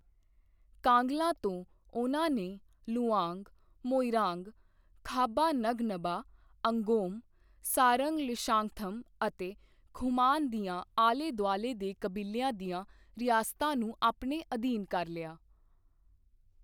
ਕਾਂਗਲਾ ਤੋਂ ਉਹਨਾਂ ਨੇ ਲੁਵਾਂਗ, ਮੋਇਰਾਂਗ, ਖਾਬਾ ਨਗਨਬਾ, ਅੰਗੋਮ, ਸਾਰੰਗ ਲੀਸ਼ੈਂਗਥਮ ਅਤੇ ਖੁਮਾਨ ਦੀਆਂ ਆਲੇ ਦੁਆਲੇ ਦੇ ਕਬੀਲਿਆਂ ਦੀਆਂ ਰਿਆਸਤਾਂ ਨੂੰ ਆਪਣੇ ਅਧੀਨ ਕਰ ਲਿਆ।